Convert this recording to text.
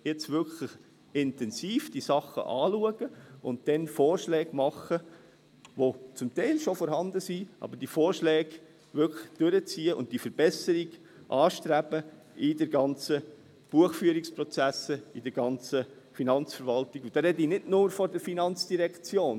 Jetzt muss man diese Sachen wirklich intensiv anschauen und dann Vorschläge machen, die zum Teil schon vorhanden sind, aber diese Vorschläge wirklich durchziehen und die Verbesserung in den ganzen Buchführungsprozessen anstreben, in der ganzen Finanzverwaltung, und da spreche ich nicht nur von der FIN.